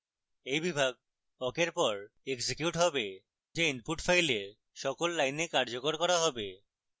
awk বিভাগ awk awk পর execute হবে যা input file সকল lines কার্যকর করা হবে